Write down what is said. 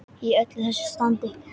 Í öllu þessu standi.